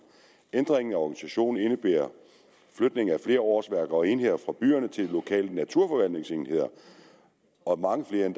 ændringen af organisationen indebærer flytning af flere årsværk og enheder fra byerne til lokale naturforvaltningsenheder og mange flere end